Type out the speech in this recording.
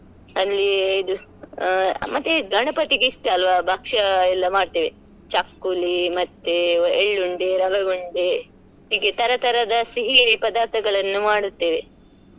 ಅಲ್ಲಿ ಇದು ಆ ಮತ್ತೆ ಗಣಪತಿಗೆ ಇಷ್ಟ ಅಲ್ಲ್ವ ಭಕ್ಷ ಎಲ್ಲ ಮಾಡ್ತೇವೆ ಚಕ್ಕುಲಿ ಮತ್ತೆ ಎಳ್ಳುಂಡೆ, ರವೇ ಉಂಡೆ ಹೀಗೆ ತರ ತರದ ಸಿಹಿ ಪದಾರ್ಥಗಳನ್ನೂ ಮಾಡುತ್ತೇವೆ.